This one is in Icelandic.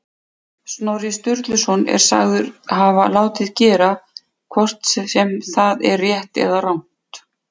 Snorri Sturluson er sagður hafa látið gera, hvort sem það er rétt eða rangt.